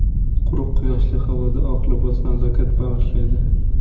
Quruq, quyoshli havoda oq libos nazokat bag‘ishlaydi.